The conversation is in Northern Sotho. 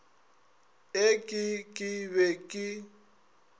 e ke ke be ke